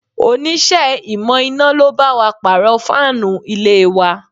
Onise ìmò iná lo bá wa pàrọ̀ fáànù ilé wa